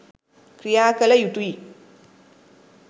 ක්‍රියාකළ යුතුයි.